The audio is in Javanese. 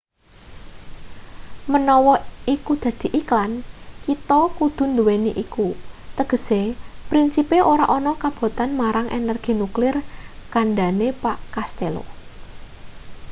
menawa iku dadi iklan kita kudu nduweni iku tegese prinsipe ora ana kabotan marang energi nuklir kandhane pak castello